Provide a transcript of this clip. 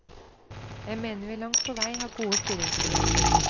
Jeg mener vi langt på vei har gode styringsmuligheter.